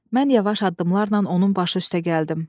Mən yavaş addımlarla onun başı üstə gəldim.